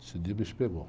Esse dia o bicho pegou.